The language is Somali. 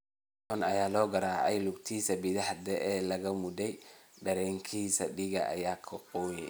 Si xun ayaa loo garaacay oo lugtiisa bidix laga muday, dharkiisana dhiig ayaa ka qooyay.